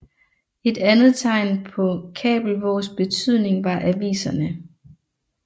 Et andet tegn på Kabelvågs betydning var aviserne